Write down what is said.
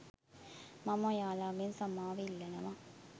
මම ඔයාලගෙන් සමාව ඉල්ලනවා